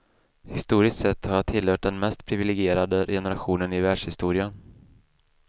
Historiskt sett har jag tillhört den mest privilegierade generationen i världshistorien.